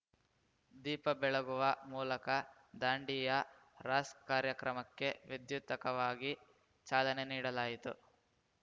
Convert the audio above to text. ದೀಪ ಬೆಳಗುವ ಮೂಲಕ ದಾಂಡಿಯಾ ರಾಸ್‌ ಕಾರ್ಯಕ್ರಮಕ್ಕೆ ವಿದ್ಯುಕ್ತಕವಾಗಿ ಚಾಲನೆ ನೀಡಲಾಯಿತು